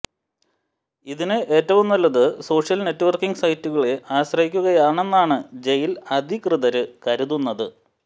ഇതിന് ഏറ്റവും നല്ലത് സോഷ്യന് നെറ്റ്വര്ക്കിംഗ് സൈറ്റുകളെ ആശ്രയിക്കുകയാണെന്നാണ് ജയില് അധികൃതര് കരുതുന്നത്